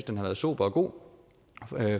den har været sober og god